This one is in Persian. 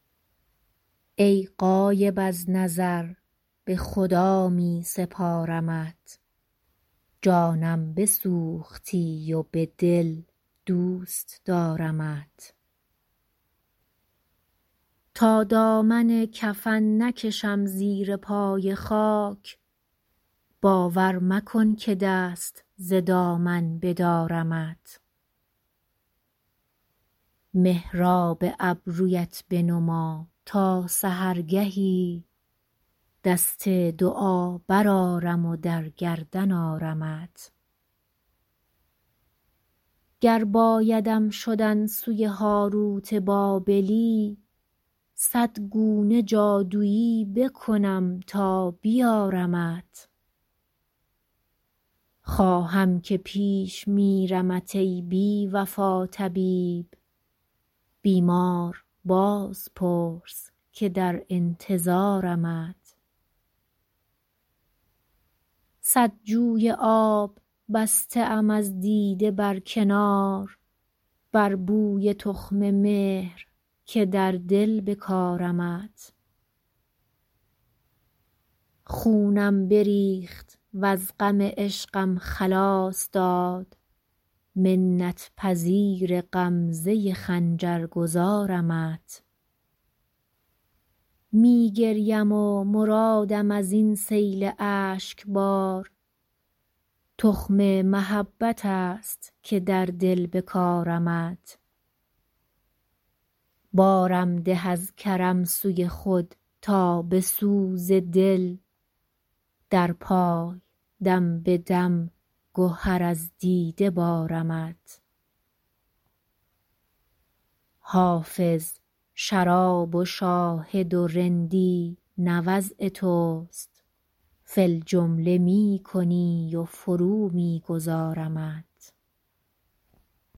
ای غایب از نظر به خدا می سپارمت جانم بسوختی و به دل دوست دارمت تا دامن کفن نکشم زیر پای خاک باور مکن که دست ز دامن بدارمت محراب ابرویت بنما تا سحرگهی دست دعا برآرم و در گردن آرمت گر بایدم شدن سوی هاروت بابلی صد گونه جادویی بکنم تا بیارمت خواهم که پیش میرمت ای بی وفا طبیب بیمار باز پرس که در انتظارمت صد جوی آب بسته ام از دیده بر کنار بر بوی تخم مهر که در دل بکارمت خونم بریخت وز غم عشقم خلاص داد منت پذیر غمزه خنجر گذارمت می گریم و مرادم از این سیل اشک بار تخم محبت است که در دل بکارمت بارم ده از کرم سوی خود تا به سوز دل در پای دم به دم گهر از دیده بارمت حافظ شراب و شاهد و رندی نه وضع توست فی الجمله می کنی و فرو می گذارمت